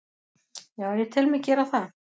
Já, ég tel mig gera það.